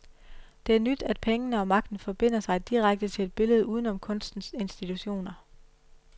Det er nyt, at pengene og magten forbinder sig direkte til et billede uden om kunstens institutioner.